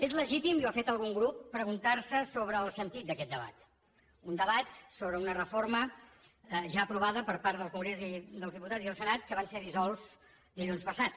és legítim i ho ha fet algun grup preguntar se sobre el sentit d’aquest debat un debat sobre una reforma ja aprovada per part del congrés dels diputats i el senat que van ser dissolts dilluns passat